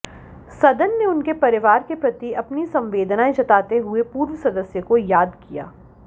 सदन ने उनके परिवार के प्रति अपनी संवेदनाएं जताते हुए पूर्व सदस्य को याद किया